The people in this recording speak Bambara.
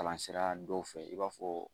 Kalan sira dɔw fɛ i b'a fɔ